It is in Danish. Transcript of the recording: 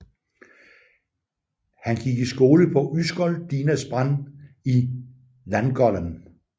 Han gik i skole på Ysgol Dinas Brân i Llangollen